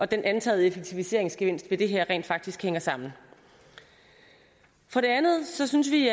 den antagede effektiviseringsgevinst ved det her rent faktisk hænger sammen for det andet synes vi